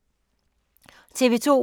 TV 2